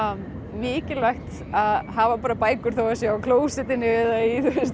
mikilvægt að hafa bækur þótt þær séu á klósettinu eða í